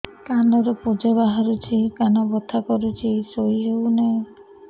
କାନ ରୁ ପୂଜ ବାହାରୁଛି କାନ ବଥା କରୁଛି ଶୋଇ ହେଉନାହିଁ